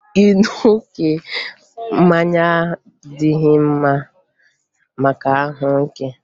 Ịṅụ oké mmanya adịghị mma maka ahụike